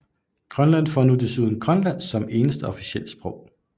Grønland får nu desuden Grønlandsk som eneste officielle sprog